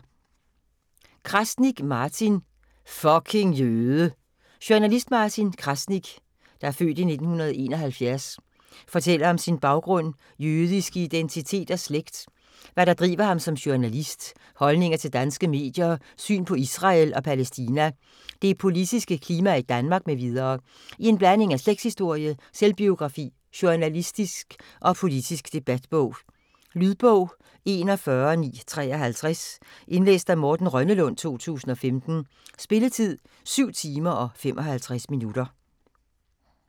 Krasnik, Martin: Fucking jøde! Journalist Martin Krasnik (f. 1971) fortæller om sin baggrund, jødiske identitet og slægt, hvad der driver ham som journalist, holdninger til danske medier, syn på Israel og Palæstina, det politiske klima i Danmark m.v. i en blanding af slægtshistorie, selvbiografi, journalistisk og politisk debatbog. Lydbog 41953 Indlæst af Morten Rønnelund, 2015. Spilletid: 7 timer, 55 minutter.